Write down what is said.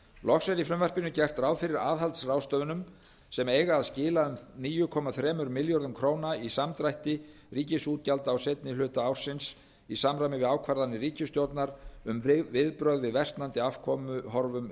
loks er í frumvarpinu gert ráð fyrir aðhaldsráðstöfunum sem eiga að skila um níu komma þrjá milljarða króna samdrætti ríkisútgjalda á seinni hluta ársins í samræmi við ákvarðanir ríkisstjórnar um viðbrögð við versnandi afkomuhorfum